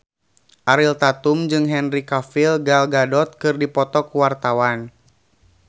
Ariel Tatum jeung Henry Cavill Gal Gadot keur dipoto ku wartawan